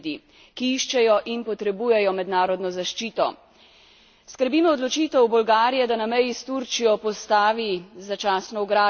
Skrbi me odločitev Bolgarije, da na meji s Turčijo postavi začasno ograjo bo Evropa res dobila podobo trdnjave? Ne želim si tega.